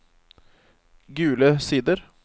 Gule Sider